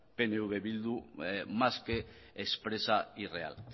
pnv bildu más que expresa y real